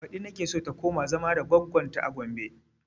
Baɗi nake so ta koma zama da goggon ta a gombe